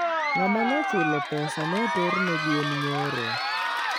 Ngama nochulo pesa noterne gwen nyoro